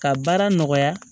Ka baara nɔgɔya